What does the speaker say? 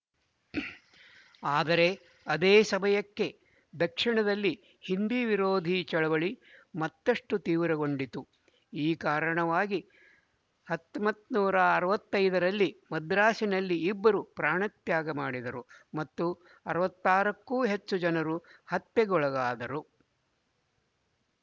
ಆದರೆ ಅದೇ ಸಮಯಕ್ಕೆ ದಕ್ಶಿಣದಲ್ಲಿ ಹಿಂದಿ ವಿರೋಧಿ ಚಳುವಳಿ ಮತ್ತುಷ್ಟು ತೀವ್ರಗೊಂಡಿತು ಈ ಕಾರಣವಾಗಿ ಹತೊಂಬತ್ತರ ಅರವತ್ತ್ ಐದು ರಲ್ಲಿ ಮದ್ರಾಸಿನಲ್ಲಿ ಇಬ್ಬರು ಪ್ರಾಣತ್ಯಾಗ ಮಾಡಿದರು ಮತ್ತು ಅರವತ್ತ್ ಆರಕ್ಕೂ ಹೆಚ್ಚು ಜನರು ಹತ್ಯೆಗೊಳಗಾದರು